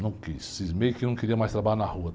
Não quis, cismei que não queria mais trabalhar na rua.